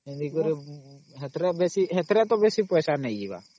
ସେଥିରେ ତା ବେଶୀ ପଇସା ନେଇ ଯିବାର